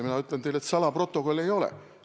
Mina ütlen teile, et salaprotokolle ei ole.